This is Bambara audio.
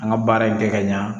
An ka baara in kɛ ka ɲa